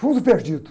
Fundo perdido.